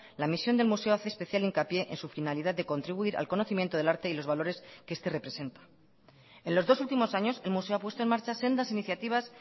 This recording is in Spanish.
la misión del museo hace especial hincapié en su finalidad de contribuir al conocimiento del arte y los valores que este representa en los dos últimos años el museo ha puesto en marcha sendas iniciativas